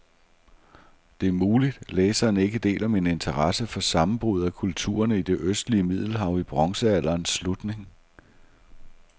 Det er muligt, læseren ikke deler min interesse for sammenbruddet af kulturerne i det østlige middelhav i bronzealderens slutning.